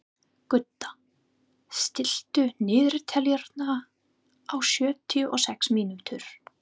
Gudda, stilltu niðurteljara á sjötíu og sex mínútur.